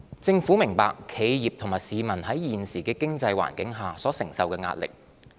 政府明白企業及市民在現時的經濟環境下所承受的壓力。